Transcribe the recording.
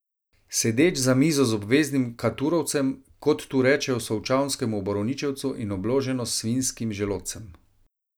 Sedeč za mizo z obveznim katurovcem, kot tu rečejo solčavskemu borovničevcu, in obloženo s savinjskim želodcem.